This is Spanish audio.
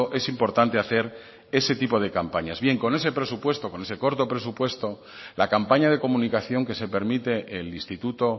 es importante hacer ese tipo de campañas bien con ese presupuesto con ese corto presupuesto la campaña de comunicación que se permite el instituto